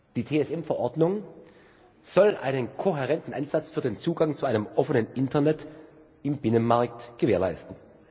Die TSM Verordnung soll einen kohärenten Ansatz für den Zugang zu einem offenen Internet im Binnenmarkt gewährleisten.